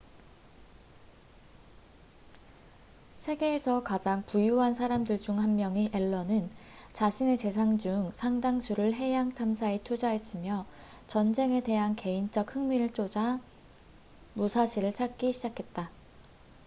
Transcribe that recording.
세계에서 가장 부유한 사람들 중 한 명인 앨런은 자신의 재산 중 상당수를 해양 탐사에 투자했으며 전쟁에 대한 개인적 흥미를 쫒아 무사시를 찾기 시작했다